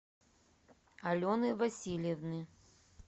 алены васильевны